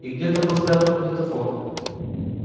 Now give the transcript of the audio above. и где-то был спрятан магнитофон